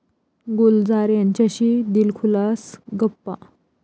गुलजार यांच्याशी दिलखुलास गप्पा